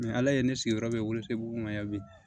Ni ala ye ne sigiyɔrɔ bɛn y'a mɛn